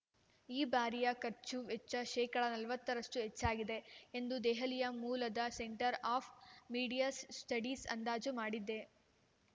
ಈ ಬಾರಿಯ ಖರ್ಚು ವೆಚ್ಚ ಶೇಕಡಾ ನಲವತ್ತ ರಷ್ಟು ಹೆಚ್ಚಾಗಿದೆ ಎಂದು ದೆಹಲಿ ಮೂಲದ ಸೆಂಟರ್ ಆಫ್ ಮೀಡಿಯಾ ಸ್ಟಡೀಸ್ ಅಂದಾಜು ಮಾಡಿದೆ